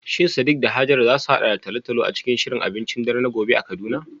Shin Sadiq da Hajara za su haɗa da talo-talo a cikin shirin abincin dare na gobe a Kaduna?